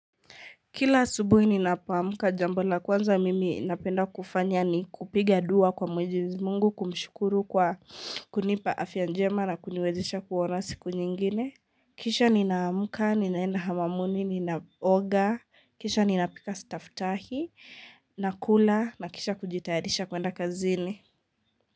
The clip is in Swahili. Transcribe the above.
Kila asubuhi ninapoamka jambo la kwanza mimi napenda kufanya ni kupiga dua kwa mwenyezi Mungu, kumshukuru kwa kunipa afya njema na kuniwezisha kuona siku nyingine. Kisha ninamka, ninenda hamamuni, ninaoga, kisha ninapika sitaftahi, nakula na kisha kujitayarisha kwenda kazini.